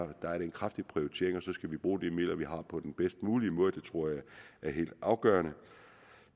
det er en kraftig prioritering og så skal vi bruge de midler vi har på den bedst mulige måde det tror jeg er helt afgørende